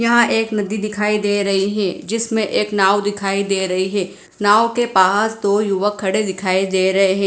यहां एक नदी दिखाई दे रही हैं जिसमें एक नांव दिखाई दे रही हैं नांव के पास दो युवक खडे दिखाई दे रहे हैं।